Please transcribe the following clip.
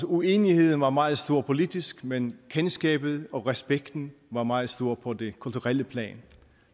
uenigheden var meget stor politisk men kendskabet og respekten var meget stor på det kulturelle plan